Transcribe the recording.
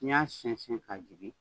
N'i y'a sɛnsɛn k'a jigin